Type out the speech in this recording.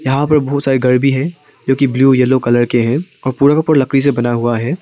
यहां पर बहुत सारे घर भी हैं जो कि ब्लू येलो कलर के हैं और पूरा का पूरा लकड़ी से बना हुआ है।